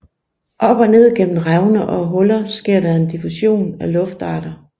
Op og ned gennem revner og huller sker der en diffusion af luftarter